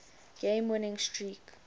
game winning streak